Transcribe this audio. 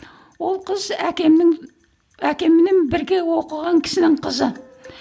ол қыз әкемнің әкеммен бірге оқыған кісінің қызы